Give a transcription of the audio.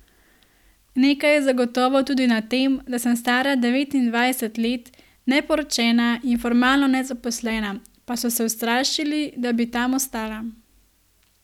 Nekaj je zagotovo tudi na tem, da sem stara devetindvajset let, neporočena in formalno nezaposlena, pa so se ustrašili da bi tam ostala ...